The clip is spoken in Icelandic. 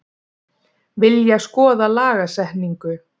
Vilja skoða lagasetningu